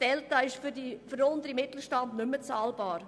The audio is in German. Das ist für den unteren Mittelstand nicht mehr bezahlbar.